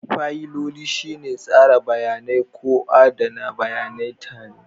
Fayiloli shine tsara bayanai ko adana bayanai tare.